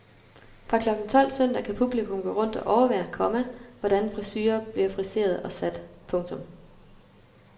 Fra klokken tolv søndag kan publikum gå rundt og overvære, komma hvordan frisurer bliver friseret og sat. punktum